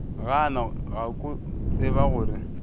gana ka go tseba gore